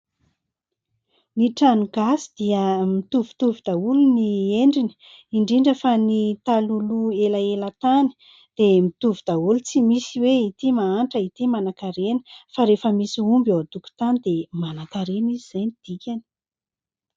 Ny trano gasy dia mitovitovy daholo ny endriny, indrindra fa ny talohaloha elaela tany dia mitovy daholo ; tsy misy hoe ity mahantra, ity manan-karena fa rehefa misy omby eo an-tokotany dia manan-karena izy izay no dikany.